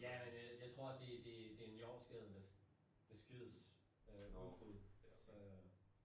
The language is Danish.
Ja men øh jeg tror det det det en jordskælv der skyldes udbrud så